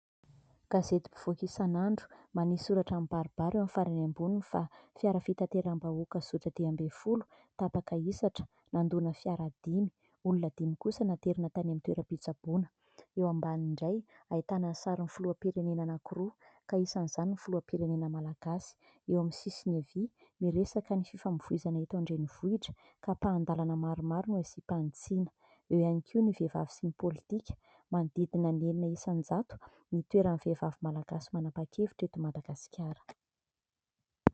Gazety mpivoaka isan'andro manisy soratra mibaribary eo amin'ny farany amboniny fa fiara fitateram-bahoaka zotra dimby ambin'ny folo tapaka hisatra nandona fiara dimy. Olona dimy kosa naterina tany amin'ny toeram-pitsaboana. Eo ambaniny indray ahitana ny sarin'ny filoham-pirenena anankiroa ka isan'izany ny filoham-pirenena Malagasy. Eo amin'ny sisiny havia miresaka ny fifamoivoizana eto an-drenivohitra ka ampahan-dalana maromaro no asiam-panitsiana. Eo ihany koa ny vehivavy sy ny politika. Manodidina ny enina isan-jato ny toeran'ny vehivavy Malagasy manapa-kevitra eto Madagasikara.